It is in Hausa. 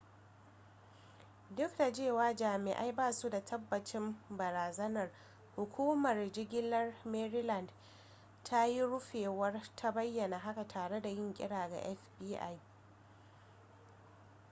duk da cewa jami'ai basu da tabbacin barazanar hukumar jigilar maryland ta yi rufewar ta bayyana haka tare da yin kira ga fbi